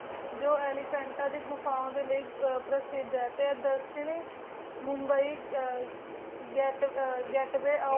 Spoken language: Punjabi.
ਜੋ ਏਲੇਫਾਂ ਤਾ ਦੇ ਘੁਫੁੰਡ ਲੈ ਪਰਸੇ ਦਾ ਦਾਕ੍ਸ਼ਾਨੀ ਮੁੰਬ ਜੇਟ ਵੀ ਜੇਟ ਵੀ ਓ get way of india